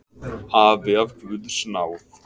Afi af guðs náð.